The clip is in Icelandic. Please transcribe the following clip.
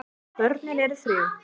Börnin eru þrjú.